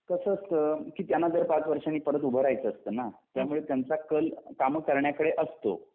कसं असतं की त्यांना जर पाच वर्षांनी परंत उभं रहायच असतना त्यामुळे त्यांचा कल काम करण्याकडे असतो